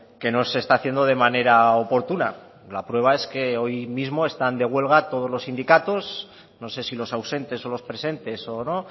que no se está haciendo de manera oportuna la prueba es que hoy mismo están de huelga todos los sindicatos no sé si los ausentes o los presentes o no